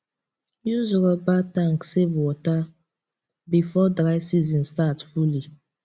use rubber tank save water before dry season start fully